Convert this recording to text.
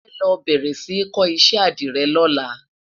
mọ fẹ ló béèrè sí kò iṣẹ adire lọla